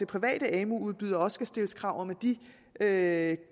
private amu udbydere også skal stilles krav om at